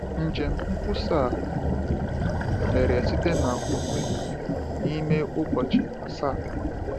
Njem nkwusa a mere site n’ụkwụ, n’ime ụbọchị asaa.